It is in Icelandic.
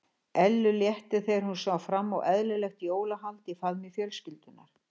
Ellu létti þegar hún sá fram á eðlilegt jólahald í faðmi fjölskyldunnar.